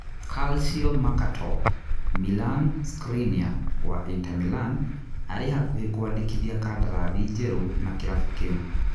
(Calciomercato) Milan Skriniar wa Inter Milan arĩ hakuhĩ kwandĩka kandarathi njerũ na kĩrabu kĩu.